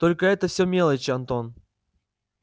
только это все мелочи антон